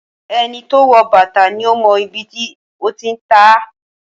Ẹni to wọ̀ bàtà ni ó mọ ibi tí ó ti ń tá.